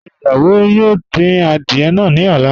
Ṣe iwọ yoo din àdìẹ̀ náà ni ọ̀lá?